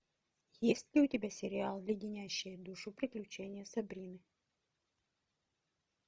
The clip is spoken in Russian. есть ли у тебя сериал леденящие душу приключения сабрины